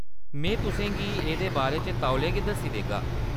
में तुसें गी एह्‌‌‌दे बारे च तौले गै दस्सी देगा।